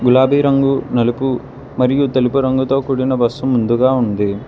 గులాబీ రంగు నలుపు మరియు తెలుపు రంగుతో కూడిన బస్సు ముందుగా ఉంది.